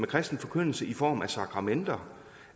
kristen forkyndelse i form af sakramenter